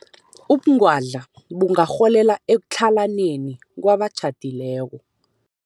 Ubungwadla bungarholela ekutlhalaneni kwabatjhadileko.